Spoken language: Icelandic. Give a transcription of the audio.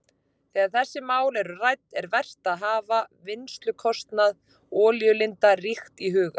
Þegar þessi mál eru rædd er vert að hafa vinnslukostnað olíulinda ríkt í huga.